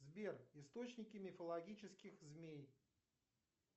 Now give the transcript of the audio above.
сбер источники мифологических змей